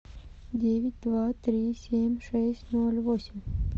девять два три семь шесть ноль восемь